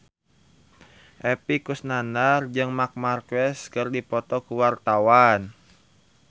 Epy Kusnandar jeung Marc Marquez keur dipoto ku wartawan